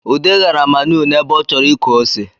Ude ghara manụ n’ebe ọ chọrọ ịkọ ose